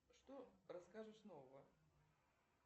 что расскажешь нового